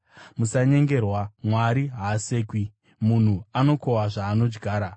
Musanyengerwa: Mwari haasekwi. Munhu anokohwa zvaanodyara.